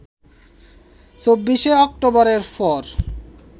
২৪ শে অক্টোবরের পর